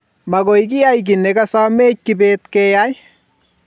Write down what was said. magoy kiyai kit ne kasomeche kibet keyai